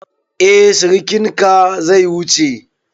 Eh sirikinka zai wuce.